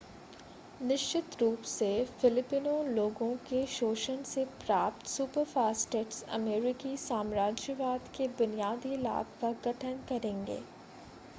निश्चित रूप से फिलिपिनो लोगों के शोषण से प्राप्त सुपरफास्टिट्स अमेरिकी साम्राज्यवाद के बुनियादी लाभ का गठन करेंगे